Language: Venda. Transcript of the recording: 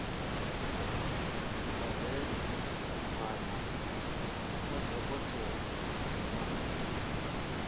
sibadela kana kha dokotela wa